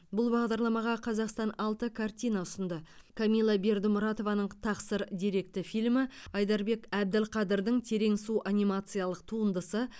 бұл бағдарламаға қазақстан алты картина ұсынды камилла бердімұратованың тақсыр деректі фильмі айдарбек әбділқадырдың терең су анимациялық туындысы